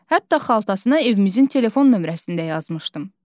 Hətta xaltasına evimizin telefon nömrəsində yazmışdım.